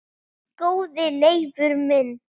Góði Leifur minn